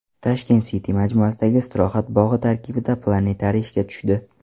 Tashkent City majmuasidagi istirohat bog‘i tarkibida planetariy ishga tushdi.